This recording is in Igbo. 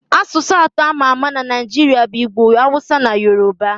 Asụsụ atọ a ma ama na Naịjiria bụ Igbo, Yoroba, na Awụsa